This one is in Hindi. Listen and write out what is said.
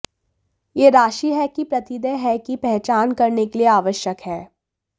यह राशि है कि प्रतिदेय है की पहचान करने के लिए आवश्यक है